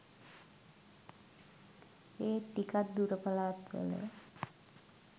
ඒත් ටිකක් දුර පලාත්වල